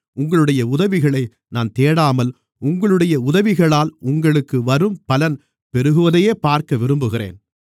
உங்களுடைய உதவிகளை நான் தேடாமல் உங்களுடைய உதவிகளால் உங்களுக்கு வரும் பலன் பெருகுவதையே பார்க்க விரும்புகிறேன்